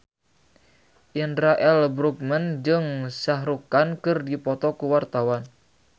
Indra L. Bruggman jeung Shah Rukh Khan keur dipoto ku wartawan